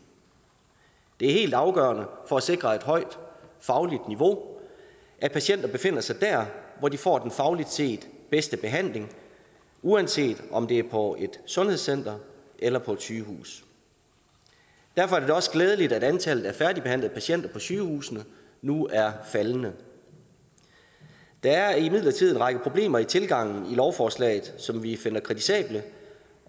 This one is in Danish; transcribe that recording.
det er helt afgørende for at sikre et højt fagligt niveau at patienter befinder sig der hvor de får den fagligt set bedste behandling uanset om det er på et sundhedscenter eller på et sygehus derfor er det da også glædeligt at antallet af færdigbehandlede patienter på sygehusene nu er faldende der er imidlertid en række problemer med tilgangen i lovforslaget som vi finder kritisabel